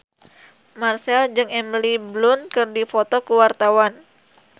Marchell jeung Emily Blunt keur dipoto ku wartawan